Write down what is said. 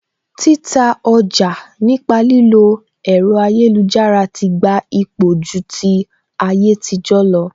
Títa ọjà nípa lílo ẹ̀rọ ayélujára ti gba ipò ju ti ayétijọ lọ